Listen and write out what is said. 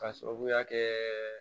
K'a sababuya kɛ